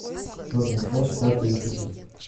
черный плащ пятый эпизод